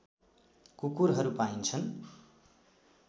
कुकुरहरू पाइन्छन्